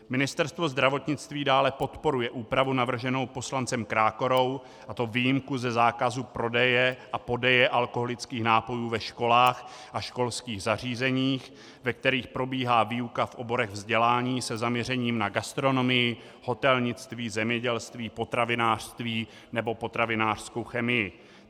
Ministerstvo zdravotnictví dále podporuje úpravu navrženou poslancem Krákorou, a to výjimku ze zákazu prodeje a podeje alkoholických nápojů ve školách a školských zařízeních, ve kterých probíhá výuka v oborech vzdělání se zaměřením na gastronomii, hotelnictví, zemědělství, potravinářství nebo potravinářskou chemii.